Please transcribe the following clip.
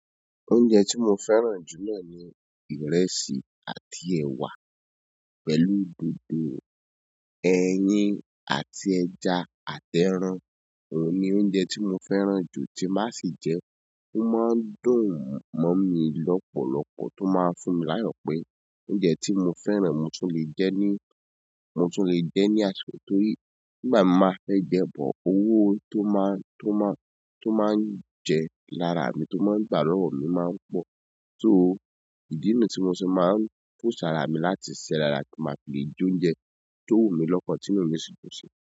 Oúnjẹ tí mo fẹ́ràn jù náà ni ìrẹsì àti ẹ̀wà pẹ̀lú dòdò, ẹyin àti ẹja àtẹrán. Òun ni oúnjẹ tí mo fẹ́ràn jù tí má sì jẹ́, ó má ń dùn mọ́ mi lọ́pọ̀lọpọ̀ tó máa ń fún mi láyọ̀pé oúnjẹ tí mo fẹ́ràn, mo tún lè jẹ ni, mo tún lè jẹ ní àsìkò, torí ni gba tó ma bá fẹ́ jẹ, but owo tó máa ń je lára mi tó maanu gba lọ́wọ́ mi, ó maanu pọ̀. So ìdí ni yìí tó mo fi máa nu post ara mi, láti ṣe arami, ti ma lè fẹ́ jẹ oúnjẹ tó wunmi tí inú mi sì dùn si.